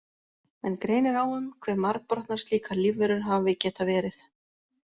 Menn greinir á um hve margbrotnar slíkar lífverur hafi getað verið.